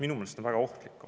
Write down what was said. See on minu meelest väga ohtlik.